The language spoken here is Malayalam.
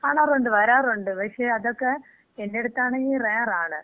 കാണാറുണ്ട്, വരാറുണ്ട്. പക്ഷെ, അതൊക്കെ എന്‍റടുത്താണങ്കി റെയർ ആണ്.